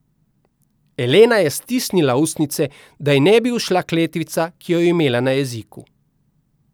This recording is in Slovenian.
Elena je stisnila ustnice, da ji ne bi ušla kletvica, ki jo je imela na jeziku.